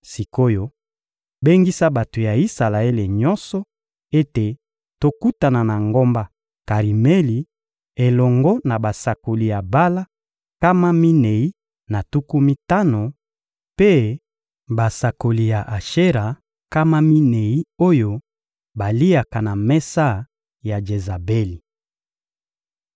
Sik’oyo bengisa bato ya Isalaele nyonso ete tokutana na ngomba Karimeli elongo na basakoli ya Bala nkama minei na tuku mitano mpe basakoli ya Ashera nkama minei oyo baliaka na mesa ya Jezabeli.